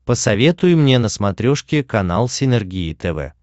посоветуй мне на смотрешке канал синергия тв